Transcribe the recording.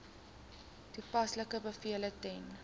toepaslike bevele ten